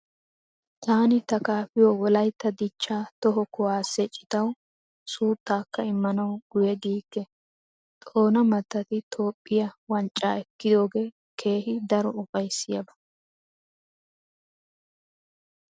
Taani ta kaafiyo Wolaytta dichchaa toho kuwaasee citawu suuttaakka immanawu guyye giikke. Xoona mattati Toophphiyaa wanccaa ekkidoogee keehi daro ufayssiyaaba.